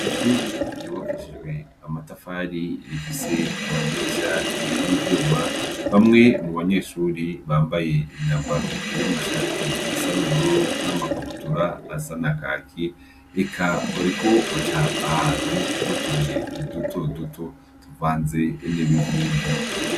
Ishuri ryubakishijwe amatafari rifise amadirisha y'ivyuma, bamwe mu banyeshuri bambaye imyambaro y'amashati asa n'ubururu n'amakabutura asa na kaki, eka bariko baca ahantu hari utubuye duto duto tuvanze n'ibivuvu.